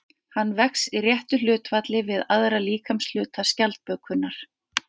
Hann vex í réttu hlutfalli við aðra líkamshluta skjaldbökunnar.